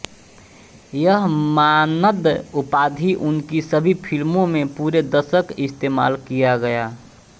यह मानद उपाधि उनकी सभी फिल्मों में पूरे दशक इस्तेमाल किया गया